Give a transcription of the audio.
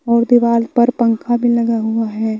और दीवाल पर पंखा भी लगा हुआ है।